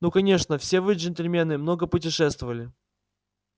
ну конечно все вы джентльмены много путешествовали